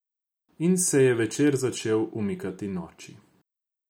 In se je večer začel umikati noči.